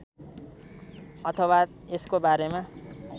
अथवा यसको बारेमा